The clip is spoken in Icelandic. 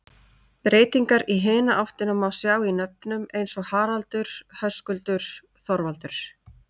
Breytingar í hina áttina má sjá í nöfnum eins og Haraldur, Höskuldur, Þorvaldur.